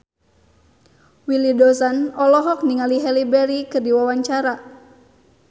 Willy Dozan olohok ningali Halle Berry keur diwawancara